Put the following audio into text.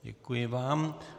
Děkuji vám.